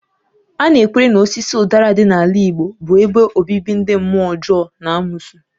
A na-ekwere na osisi ụdara dị n'ala Igbo bụ ebe obibi ndị mmụọ ọjọọ na amosu